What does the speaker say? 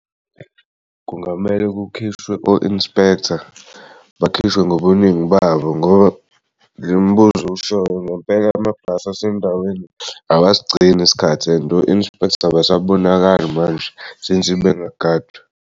Kungamele kukhishwe o-inspector bekhishwe ngobuningi babo ngoba le mibuzo owushoyo ngampela amabhasi asendaweni awasigcini isikhathi and o-inspector abasabonakala manje since bengagadwa.